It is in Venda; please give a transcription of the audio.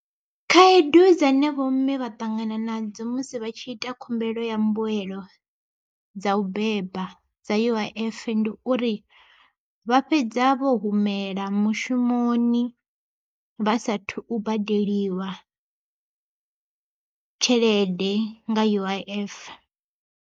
Khaedu dzane vho mme vha ṱangana nadzo musi vha tshi ita khumbelo ya mbuelo dza u beba dza U_I_F ndi uri vha fhedza vho humela mushumoni vha sathu badeliwa tshelede nga U_I_F.